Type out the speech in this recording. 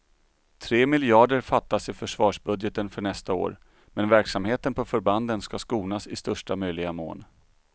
Tre miljarder fattas i försvarsbudgeten för nästa år, men verksamheten på förbanden ska skonas i största möjliga mån.